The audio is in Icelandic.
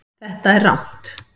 Þetta er rangt